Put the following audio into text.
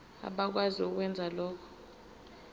abakwazi ukwenza lokhu